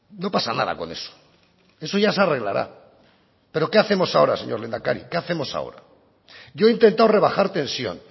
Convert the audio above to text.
no pasa nada con eso eso ya se arreglará pero qué hacemos ahora señor lehendakari qué hacemos ahora yo he intentado rebajar tensión